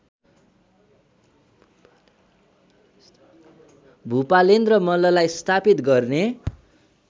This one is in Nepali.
भुपालेन्द्र मल्ललाई स्थापित गर्ने